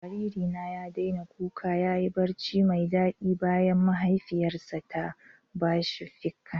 Jariri na ya daina kuka ya yi barci mai daɗi bayan mahaifiyarsa ta ba shi ficcan